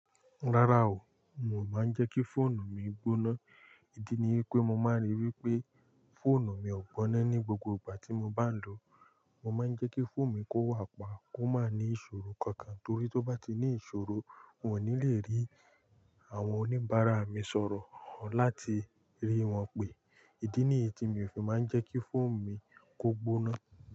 Rárá o, mo máa ń jẹ́ kí fóònù mi gbóná. Ìdí ni wipé mo máa ń ríi wípé fóònù mi ò gbóná ní gbogbo ìgbà tí mo bá ń lò ó. Mo máa ń jẹ́ kí phone mi kó wà pa kò máa ni ìṣòro kankan torí tó bá ti ní ìṣòro, mo ní lé rí àwọn oníbàárà mi sọ̀rọ̀ láti rí wọn pé. Ìdí ni èyí tí mi o fi máa ń jẹ́ kí phone mi kó gbóná.